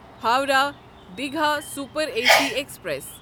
Howrah Digha super A C express